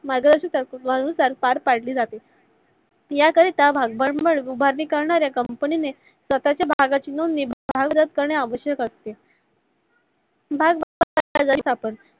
मार्गदर्शक तत्त्वानुसार पार पढली जाते. या करिता भांडवल उभा करणाऱ्या company नि ने स्वतच्या भागांची नोंदणी करणे आवश्यक असते. भाग